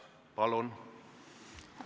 Palun!